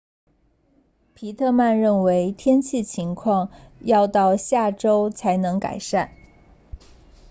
皮特曼认为天气情况要到下周才能改善